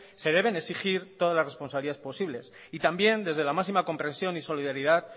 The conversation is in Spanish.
se deben exigir todas las responsabilidades posibles y también desde la máxima comprensión y solidaridad